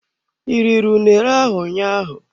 I riri unere ahụ ụnyaahụ?